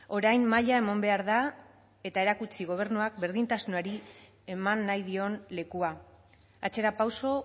orain maila eman behar da eta erakutsi gobernuak berdintasunari eman nahi dion lekua atzerapauso